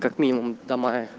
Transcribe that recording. как минимум до мая